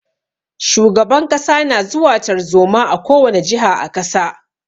Shugaban kasa na zuwa tarzoma a ko wani jiha a kasa.